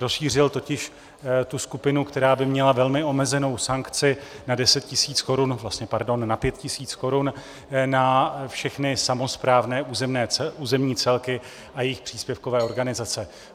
Rozšířil totiž tu skupinu, která by měla velmi omezenou sankci na 5 000 korun, na všechny samosprávné územní celky a jejich příspěvkové organizace.